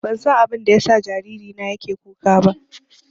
Ban san abinda ya sa jariri na yake kuka ba